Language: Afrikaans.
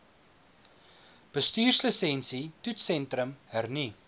bestuurslisensie toetssentrum hernu